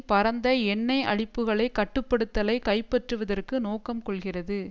பரந்த எண்ணெய் அளிப்புக்களை கட்டுப்படுத்தலைக் கைப்பற்றுவதற்கு நோக்கம் கொள்கிறது